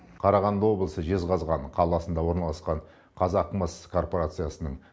қарағанды облысы жезқазған қаласында орналасқан қазақмыс корпорациясының